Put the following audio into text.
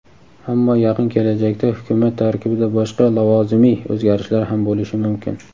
Ammo yaqin kelajakda Hukumat tarkibida boshqa lavozimiy o‘zgarishlar ham bo‘lishi mumkin.